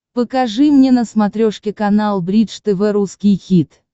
покажи мне на смотрешке канал бридж тв русский хит